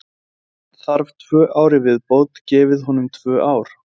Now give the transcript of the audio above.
Ef hann þarf tvö ár í viðbót, gefið honum tvö ár.